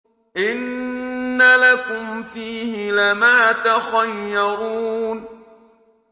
إِنَّ لَكُمْ فِيهِ لَمَا تَخَيَّرُونَ